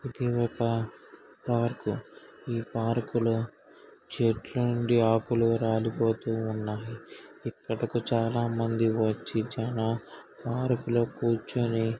ఇది ఒక పార్కు . ఈ పార్కు లో చెట్లు నుండి ఆకులు రాలిపోతూ ఉన్నవి. ఇక్కడకు చాలా మంది వచ్చి పార్కు లో కూర్చుని --